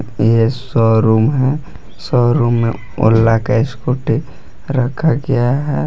यह शोरूम है शोरूम में ओला का स्कूटी रखा गया है।